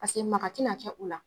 Paseke maka tɛ na kɛ u la.